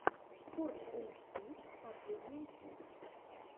спортэйчди последняя часть